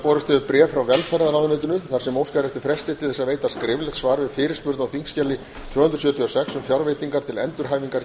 borist hefur bréf frá velferðarráðuneytinu þar sem óskað er eftir fresti til að veita skriflegt svar við fyrirspurn á þingskjali tvö hundruð sjötíu og sex um fjárveitingar til endurhæfingar